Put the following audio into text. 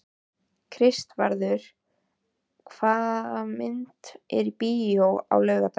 Kristvarður, hvaða myndir eru í bíó á laugardaginn?